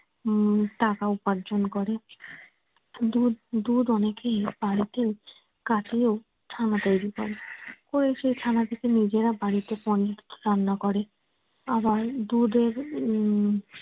উম টাকা উপার্জন করে। দুধ দুধ অনেকেই বাড়িতেও ছানা তৈরি করে ওই সেই ছানা থেকে নিজেরা বাড়িতে পনির রান্না করে আবার দুধের উম